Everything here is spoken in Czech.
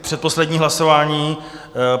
Předposlední hlasování.